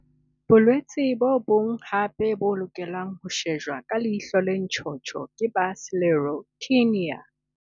Bolwetse bo bong hape bo lokelang ho shejwa ka leihlo le ntjhotjho ke ba Sclerotinia.